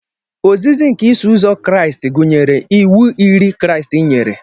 Ozizi nke Iso Ụzọ Kraịst gụnyere iwu iri Kraịst yere.